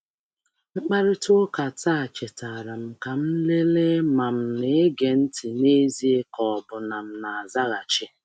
Mkparịta ụka taa chetara m ka m lelee ma m na-ege ntị n’ezie ma ọ bụ na m na-azaghachi naanị.